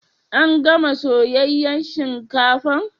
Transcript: An gana Soyayyan shinkafan?